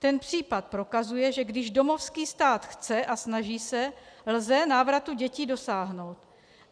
Ten případ prokazuje, že když domovský stát chce a snaží se, lze návratu dětí dosáhnout.